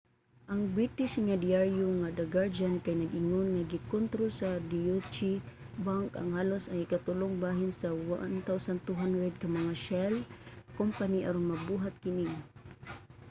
ang british nga dyaryo nga the guardian kay nag-ingon nga gikontrol sa deutsche bank ang halos ang ikatulong bahin sa 1200 ka mga shell company aron mabuhat kini